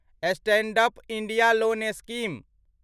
stand up India loan scheme